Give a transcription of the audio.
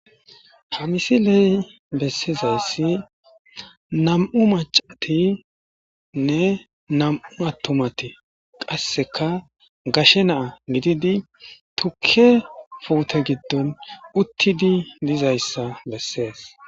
ha misiley bessizayssi nam7u macatinne nam7u attumati qasseka gashe naa nididi tukke puute giddon uttidi lizayssa bessees